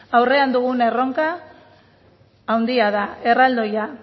aurrean dugun erronka handia da erraldoia